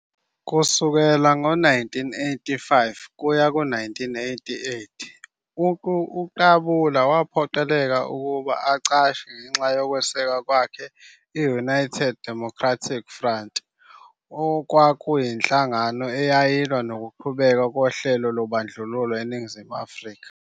Kusukela ngo-1985 kuya ku-1988, uQabula waphoqeleka ukuba acashe ngenxa yokweseka kwakhe i- United Democratic Front, okuyinhlangano eyayilwa nokuqhubeka kohlelo lobandlululo eNingizimu Afrika.